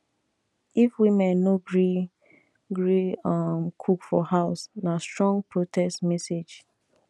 if women no gree gree um cook for house na strong protest message